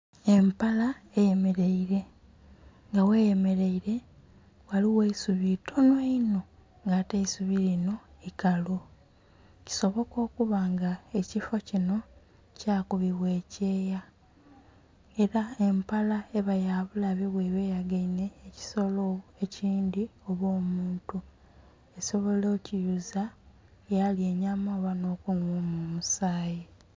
Empala eyemeleire nga gheyemeleire ghaligho eisubi itonho inho, nga ate eisubi linho ikalu. Kisoboka okuba nga ekiffo kinho kya kubibwa ekyeya ela empala eba ya bulabe bweba eyagainhe ekisolo ekindhi oba omuntu, esobola okiyuza yalya enyama oba nh'okunhwamu omusaayi.